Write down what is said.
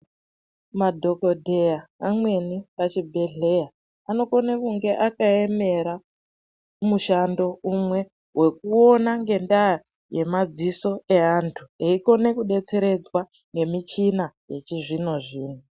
Madhokodheya amweni pachibhedhlera anokone kunge akaemera mushando umwe wekuona ngendaa yemadziso neantu eikona kudetseredzwa ngemishina yechizvino zvino.